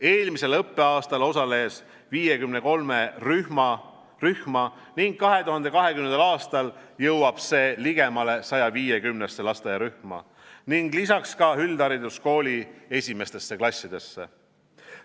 Eelmisel õppeaastal osales 53 rühma ning 2020. aastal jõuab see ligemale 150-sse lasteaiarühma ning lisaks ka üldhariduskooli esimestesse klassidesse.